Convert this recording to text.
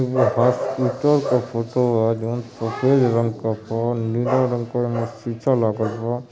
इ हॉस्पिटल क फोटो ह जोन सफेद रंग क फोन नीला रंग क ओमे शीशा लागल बा।